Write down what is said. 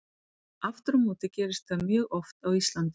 Aftur á móti gerist það mjög oft á Íslandi.